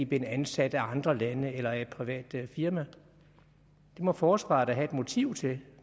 blev ansat af andre lande eller af et privat firma det må forsvaret da have et motiv til